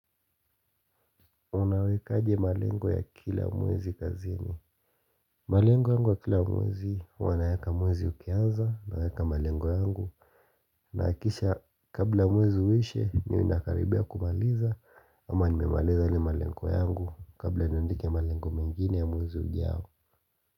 Unawekaje malengo ya kila mwezi kazini malengo ya kila mwezi huwa naweka mwezi ukianza naweka malengo yangu Nahakisha kabla mwezi uishe ninakaribia kumaliza ama nimemaliza ni malengo yangu kabla niandike malengo mengine ya mwezi ujao.